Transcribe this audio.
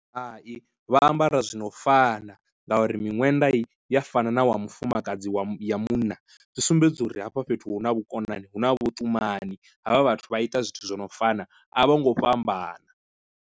Hai, vha ambara zwino fana ngauri miṅwenda ya fana na wa mufumakadzi wa ya munna zwi sumbedza uri hafha fhethu hu na vhukonani hu na vhutumani havha vhathu vha ita zwithu zwi no fana a vho ngo fhambana.